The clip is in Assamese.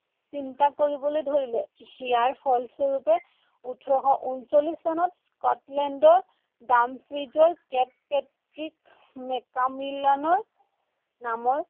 চিন্তা কৰিবলৈ ধৰিলে। ইয়াৰ ফলস্বৰূপে ওঠৰশ ঊনচল্লিশ চনত স্কটলেণ্ডৰ নামৰ